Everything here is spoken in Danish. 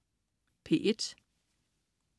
P1: